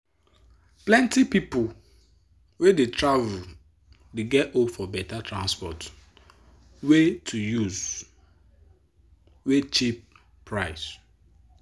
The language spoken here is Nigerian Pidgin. plenti people wey dey travel dey get hope for better transport way to use wey cheap price.